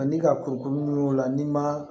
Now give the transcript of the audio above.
Ani ka kurukuru minnu y'o la n'i ma